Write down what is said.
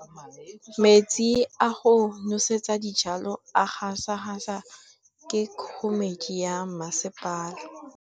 Metsi a go nosetsa dijalo a gasa gasa ke kgogomedi ya masepala.